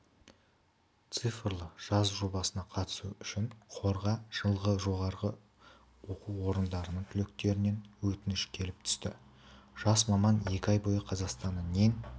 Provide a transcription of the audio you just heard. цифрлы жаз жобасына қатысу үшін қорға жылғы жоғарғы оқу орындарының түлектерінен өтініш келіп түсті жас маман екі ай бойы қазақстанның ең